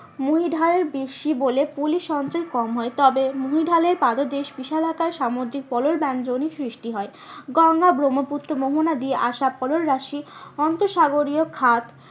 মহীঢাল বেশি বলে পলি সঞ্চয় কম হয় তবে মহীঢালের পাদদেশে বিশালাকার সামুদ্রিক পলল ব্যাঞ্জনীর সৃষ্টি হয়। গঙ্গা ব্রহ্মপুত্র মোহনা দিয়ে আশা অন্তরসাগরীয় খাদ